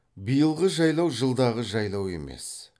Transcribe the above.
биылғы жайлау жылдағы жайлау емес